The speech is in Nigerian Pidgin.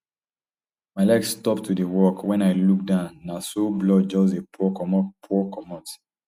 my leg stop to dey work wen i look down na so blood just dey pour comot pour comot